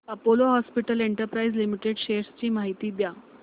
Apollo hospitals enterprise limited shares ची माहिती द्या